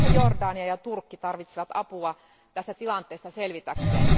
Muun muassa Jordania ja Turkki tarvitsevat apua tästä tilanteesta selvitäkseen.